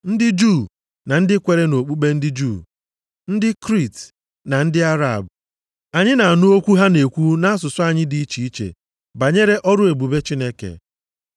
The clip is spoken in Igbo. (ndị Juu na ndị kwere nʼokpukpe ndị Juu). Ndị Kriit na ndị Arab; anyị na-anụ okwu ha na-ekwu nʼasụsụ anyị dị iche iche banyere ọrụ ebube Chineke.”